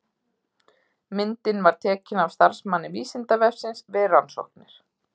Myndin var tekin af starfsmanni Vísindavefsins við rannsóknir.